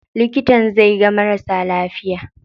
Likitan zai ga marasa lafiya.